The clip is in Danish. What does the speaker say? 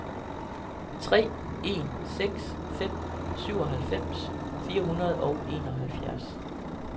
tre en seks fem syvoghalvfems fire hundrede og enoghalvfjerds